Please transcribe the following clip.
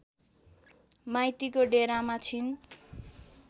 माइतीको डेरामा छिन्